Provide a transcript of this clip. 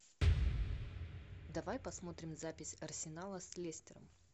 давай посмотрим запись арсенала с лестером